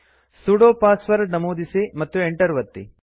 ಸುಡೋ ಪಾಸ್ವರ್ಡ್ ನಮೂದಿಸಿ ಮತ್ತು ಎಂಟರ್ ಒತ್ತಿ